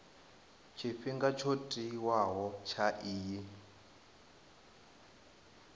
tshifhinga tsho tiwaho tsha iyi